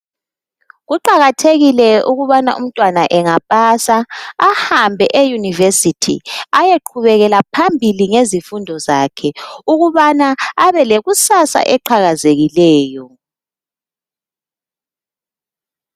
Kuqakathekile ukubana umntwana engapasa ahambe eyunivesithi eyeqhubekela phambili ngezifundo zakhe ukubana abe lekusasa eqhakazekileyo.